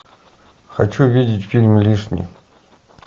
хочу видеть фильм лишний